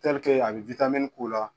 a bɛ k'u la.